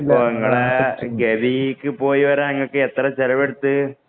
ഗവിക്ക് പോയിവരാന്‍ ഇങ്ങക്ക് എത്ര ചെലവെടുത്തു.